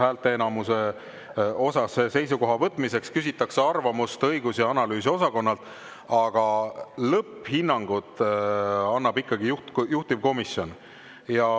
Häälteenamuse osas seisukoha võtmiseks küsitakse arvamust õigus‑ ja analüüsiosakonnalt, aga lõpphinnangu annab ikkagi juhtivkomisjon.